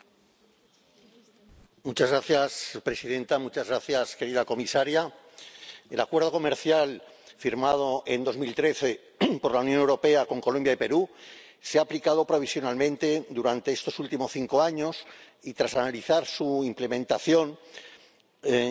Señora presidenta, querida comisaria, el Acuerdo Comercial firmado en 2013 por la Unión Europea con Colombia y Perú se ha aplicado provisionalmente durante estos últimos cinco años y, tras analizar su implementación y las relaciones entre las